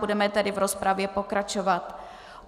Budeme tedy v rozpravě pokračovat.